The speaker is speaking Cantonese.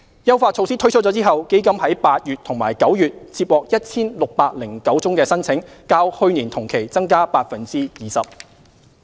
優化措施推出後，基金於8月及9月接獲 1,609 宗申請，較去年同期增加 20%。